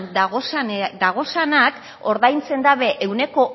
dagozanak ordaintzen dabe ehuneko